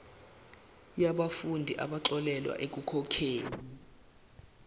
yabafundi abaxolelwa ekukhokheni